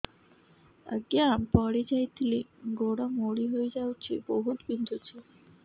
ଆଜ୍ଞା ପଡିଯାଇଥିଲି ଗୋଡ଼ ମୋଡ଼ି ହାଇଯାଇଛି ବହୁତ ବିନ୍ଧୁଛି